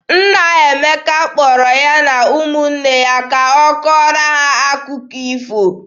Nna Emeka kpọrọ ya na ụmụnne ya ka ọ kọọrọ ha akụkọ ifo.